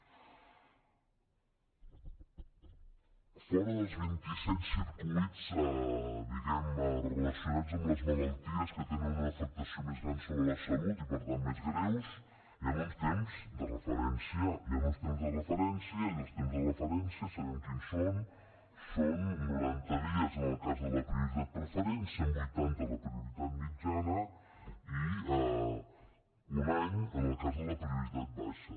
fora dels vint i set circuits diguem ne relacionats amb les malalties que tenen una afectació més gran sobre la salut i per tant més greus hi han uns temps de referència hi han uns temps de referència i els temps de referència sabem quins són són noranta dies en el cas de la prioritat preferent cent vuitanta la prioritat mitjana i un any en el cas de la prioritat baixa